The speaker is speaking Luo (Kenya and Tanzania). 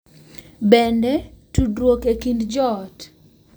Bende, tudruok e kind joot .